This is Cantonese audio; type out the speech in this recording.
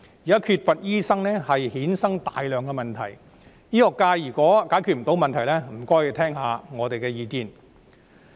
現在醫生人手短缺，衍生了大量問題，醫學界如果無法解決問題，便請聆聽一下我們的意見。